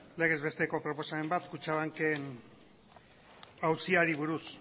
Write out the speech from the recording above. legez besteko proposamen bat kutxabanken auziari buruz